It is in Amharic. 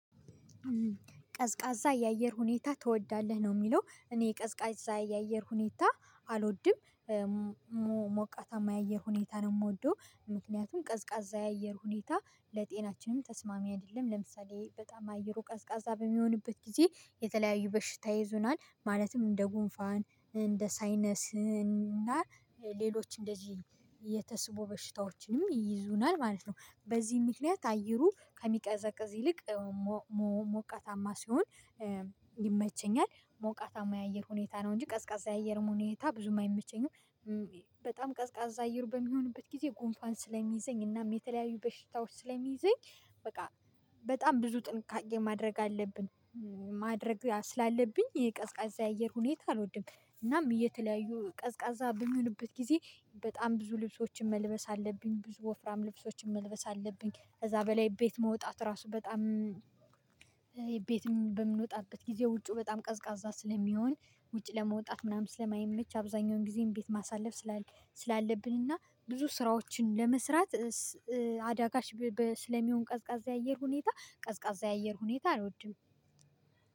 ቀዝቃዛ የአየር ሁኔታ ትወዳለህ ነው የሚለው? እኔ ቀዝቃዛ የአየር ሁኔታ አልወድም። ሞቃታማ የአየር ሁኔታ ነው የምወደው። ምክንያቱም ቀዝቃዛ የአየር ሁኔታ ለጤናችንም ተስማሚ አይደለም ለምሳሌ በጣም አየሩ ቀዝቃዛ በሚሆንበት ጊዜ የተለያዩ በሽታ ይይዘናል ማለትም እንደ ጉንፋን እንደ ሳይነስና እና ሌሎች እንደዚህ የተስቦ በሽታዎችንም ይይዙናል ማለት ነው። በዚህ ምክንያት አየሩ ከሚቀዘቅዝ ይልቅ ሞቃታማ ሲሆን ይመቸኛል። ሞቃታማ የአየር ሁኔታ ነው እንጂ ቀዝቃዛ የአየር ሁኔታ ብዙም አይመቸኝም። በጣም ቀዝቃዛ እየሩ በሚሆንበት ጊዜ ጉንፋን ስለሚይዘኝ እናም የተለያዩ በሽታዎች ስለሚይዘኝ በቃ በጣም ብዙ ጥንቃቄ ማድረግ አለብን። ማድረግ ስላለብኝ የቀዝቃዛ አየር ሁኔታ አልወድም። እናም የተለያዩ ቀዝቃዛ በሚሆንበት ጊዜ በጣም ብዙ ልብሶችን መልበስ አለብኝ ብዙ ወፍራም ልብሶችን መልበስ አለብኝ ከዛ በላይ ቤት መውጣት ራሱ በጣም። ቤት በምንወጣበት ጊዜ ውጪው በጣም ቀዝቃዛ ስለሚሆን ውጪ ለመውጣት ምናምን ስለማይመች አብዛኛውን ጊዜም ቤት ማሳለፍ። ስላለብንና ብዙ ስራዎችን ለመስራት አዳጋች ስለሚሆን ቀዝቃዛ አየር ሁኔታ ቀዝቃዛ አየር ሁኔታ አልወድም